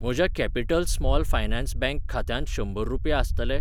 म्हज्या capital small finance bank खात्यांत शंबर रुपया आसतले ?